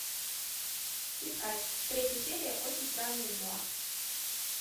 искать третья серия очень странные дела